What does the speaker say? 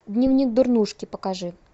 дневник дурнушки покажи